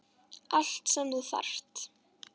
Allt sem þú þarft.